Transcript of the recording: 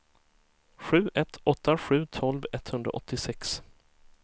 sju ett åtta sju tolv etthundraåttiosex